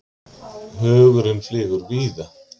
Hugurinn flýgur víða.